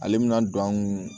Ale bɛna don an kun